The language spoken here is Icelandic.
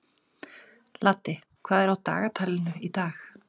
Laddi, hvað er á dagatalinu í dag?